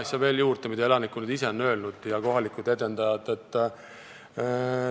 Ma toon veel juurde ühe asja, mida elanikud ja kohalikud edendajad ise on öelnud.